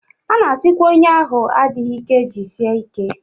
A na-asịkwa onye ahụ adịghị ike jisie ike